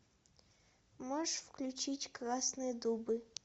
можешь включить красные дубы